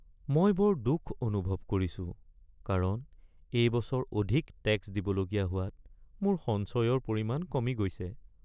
মই বৰ দুখ অনুভৱ কৰিছো কাৰণ এই বছৰ অধিক টেক্স দিবলগীয়া হোৱাত মোৰ সঞ্চয়ৰ পৰিমাণ কমি গৈছে।